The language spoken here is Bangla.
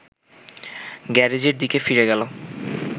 গ্যারেজের দিকে ফিরে গেল